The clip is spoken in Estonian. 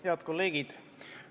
Head kolleegid!